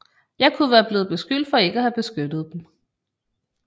Jeg kunne være blevet beskyldt for ikke at have beskyttet dem